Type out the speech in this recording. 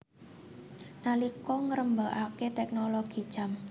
Nalika ngrembakake teknologi jam